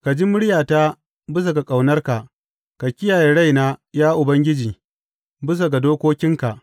Ka ji muryata bisa ga ƙaunarka; ka kiyaye raina, ya Ubangiji, bisa ga dokokinka.